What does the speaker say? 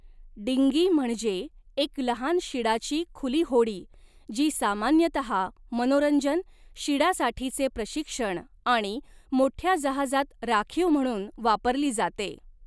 Dinghy म्हणजे एक लहान शिडाची खुली होडी, जी सामान्यतः मनोरंजन, शिडासाठीचे प्रशिक्षण आणि मोठ्या जहाजात राखीव म्हणून वापरली जाते.